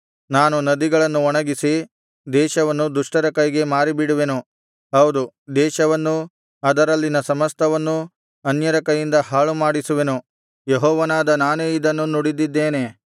ನಾನು ನದಿಗಳನ್ನು ಒಣಗಿಸಿ ದೇಶವನ್ನು ದುಷ್ಟರ ಕೈಗೆ ಮಾರಿಬಿಡುವೆನು ಹೌದು ದೇಶವನ್ನೂ ಅದರಲ್ಲಿನ ಸಮಸ್ತವನ್ನೂ ಅನ್ಯರ ಕೈಯಿಂದ ಹಾಳುಮಾಡಿಸುವೆನು ಯೆಹೋವನಾದ ನಾನೇ ಇದನ್ನು ನುಡಿದಿದ್ದೇನೆ